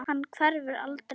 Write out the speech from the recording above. Hann hverfur aldrei.